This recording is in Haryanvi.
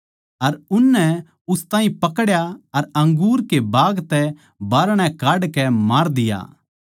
अर उननै उस ताहीं पकड्या अर अंगूर के बाग तै बाहरणै काडकै मार दिया